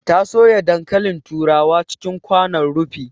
Ta soya dankalin turawa cikin kwanon rufi